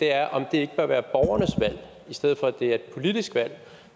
er om det ikke bør være borgernes valg i stedet for at det er et politisk valg